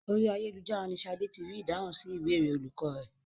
Orí ayélujára ni Ṣadé ti rí ìdáhùn sí ìbéèrè olùkọ́ rẹ̀.